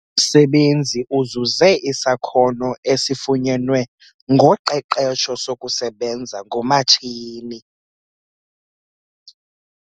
Umsebenzi uzuze isakhono esifunyenwe ngoqeqesho sokusebenza ngomatshini.